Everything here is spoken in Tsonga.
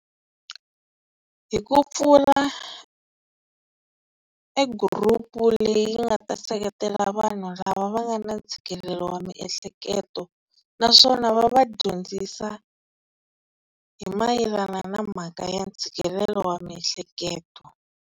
Hi ku pfula e group leyi nga ta seketela vanhu lava va nga na ntshikelelo wa miehleketo, naswona va va dyondzisa hi mayelana na mhaka ya ntshikelelo wa miehleketo.